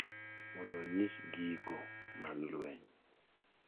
mondo onyis giko mar lweny.